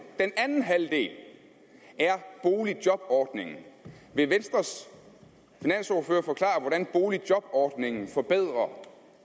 den anden halvdel er boligjobordningen vil venstres finansordfører forklare hvordan boligjobordningen forbedrer